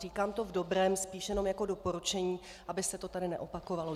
Říkám to v dobrém, spíš jenom jako doporučení, aby se to tedy neopakovalo.